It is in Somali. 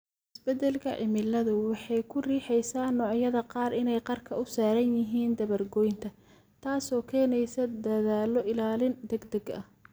Isbeddelka cimiladu waxay ku riixaysaa noocyada qaar inay qarka u saaran yihiin dabar-goynta, taasoo keeneysa dadaallo ilaalin degdeg ah.